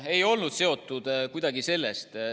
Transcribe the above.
Ei olnud midagi sellest.